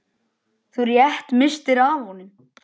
Þú rétt misstir af honum.